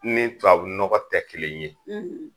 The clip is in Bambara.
Ne tubabu nɔgɔ tɛ kelen ye